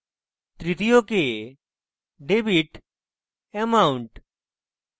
তৃতীয় কে debit amount